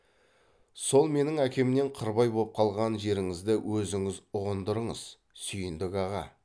сол менің әкемнен қырбай боп қалған жеріңізді өзіңіз ұғындырыңыз сүйіндік аға